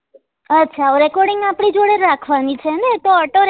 અચ્છા વો recording આપડી જોડે જ રાખવા ની છે ને એ તો auto